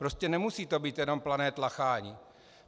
Prostě nemusí to být pouze plané tlachání.